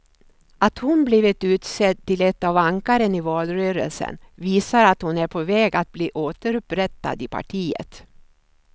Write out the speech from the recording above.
Att hon blivit utsedd till ett av ankaren i valrörelsen visar att hon är på väg att bli återupprättad i partiet.